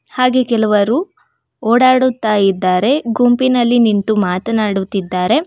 ಹಾಗೆ ಕೆಲವರು ಓಡಾಡುತ್ತಾ ಇದ್ದಾರೆ ಗುಂಪಿನಲ್ಲಿ ನಿಂತು ಮಾತನಾಡುತ್ತಿದ್ದಾರೆ.